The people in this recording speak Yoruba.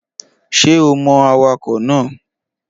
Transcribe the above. Ṣé o mọ awakọ̀ náà?